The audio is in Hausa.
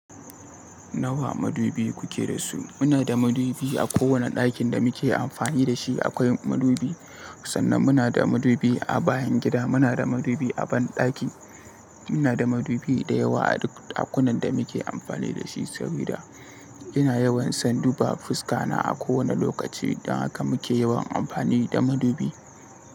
Nawa madubi kuke da su? Muna da madubi a kowane ɗakin da muke amfani da shi akwai madubi. Sannan muna da madubi a bayan gida, muna da madubi a banɗaki. Muna da madubi da yawa a duk ɗakunan da muke amfani da shi. Saboda ina yawan san duba fuska na a kowane lokaci. Don haka muke yawan amfani da madubi.